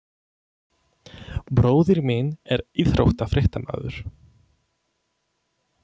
Bróðir minn er íþróttafréttamaður.